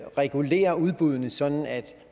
regulerer udbuddene sådan at